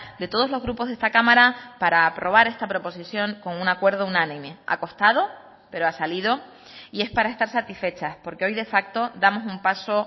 de todos los grupos de esta cámara para aprobar esta proposición con un acuerdo unánime ha costado pero ha salido y es para estar satisfechas porque hoy de facto damos un paso